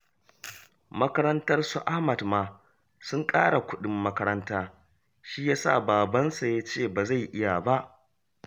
Makarantarsu Ahmad ma sun ƙara kuɗin makaranta, shi ya sa babansa ya ce ba zai iya ba